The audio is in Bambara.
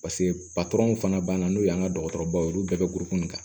Paseke patɔrɔn fana banna n'o y'an ka dɔgɔtɔrɔbaw ye olu bɛɛ bɛ burukɔnin kan